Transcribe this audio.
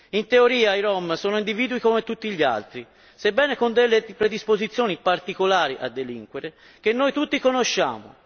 In teoria i rom sono individui come tutti gli altri, sebbene con delle predisposizioni particolari a delinquere, che noi tutti conosciamo.